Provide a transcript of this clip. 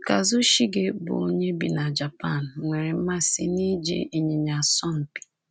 Kazushige, bụ́ onye bi na Japan, nwere mmasị n’iji ịnyịnya asọ mpi.